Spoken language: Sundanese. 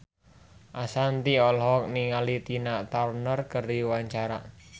Ashanti olohok ningali Tina Turner keur diwawancara